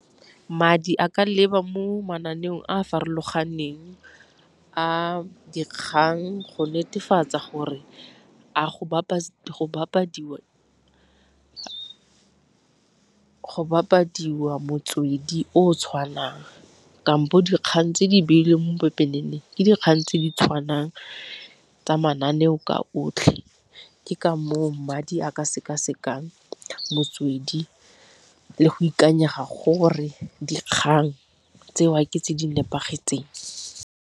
Madi a ka leba mo mananeong a a farologaneng a dikgang go netefatsa gore a go bapadiwa motswedi o o tshwanang, kampo dikgang tse di beilweng mo pepeneneng ke dikgang tse di tshwanang tsa mananeo ka otlhe. Ke ka moo madi a ka seka-sekang motswedi le go ikanyega gore dikgang tseo ke tse di nepagetseng.